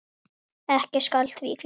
Ekki skal því gleymt.